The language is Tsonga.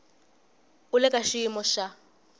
u le ka xiyimo xa